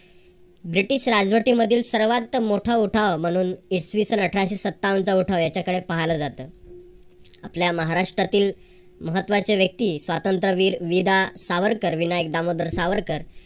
British राजवटीमधील सर्वात मोठा उठाव म्हणून इसवीसन अठराशे सत्तावनचा उठाव त्याच्याकडे पाहिलं जातं. आपल्या महाराष्ट्रातील महत्वाच्या व्यक्ती स्वातंत्र्यवीर विदा सावरकर विनोद विनायक दामोदर सावरकर